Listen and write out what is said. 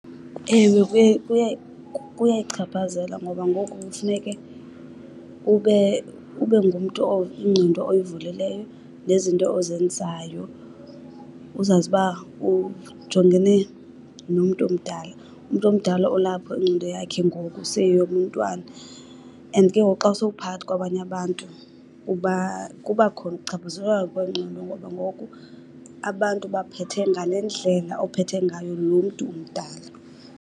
Ewe, kuyayichaphazela ngoba ngoku kufuneke ube, ube ngumntu ingqondo oyivulileyo nezinto ozenzayo uzazi uba ujongene nomntu omdala. Umntu omdala olapho ingqondo yakhe ngoku seyiyeyomntwana and ke ngoku xa usowuphakathi kwabanye abantu uba, kuba khona ukuchaphazeleka kwengqondo ngoba ngoku abantu ubaphethe ngale ndlela ophethe ngayo lo mntu mdala.